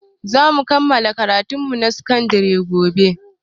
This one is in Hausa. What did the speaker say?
Zamu kammala karatun mu na sakan dare gobe